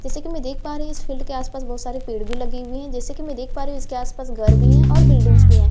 जैसे कि मैं देख पा रही हूं इस फील्ड के आसपास बहुत सारे पेड़ भी लगी हुई हैं जैसे कि मैं देख पा रही हूं इसके आसपास घर भी हैं और बिल्डिंग्स भी हैं।